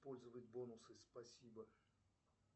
использовать бонусы спасибо